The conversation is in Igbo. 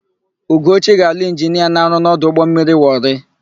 Ugochi ga-alụ injinia na-arụ n'ọdụ ụgbọmmiri Wọrị.